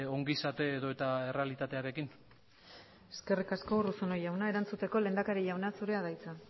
ongizate edota errealitatearekin eskerrik asko urruzuno jauna erantzuteko lehendakari jauna zurea da hitza